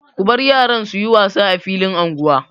Ku bar yaran su yi wasa a filin unguwa.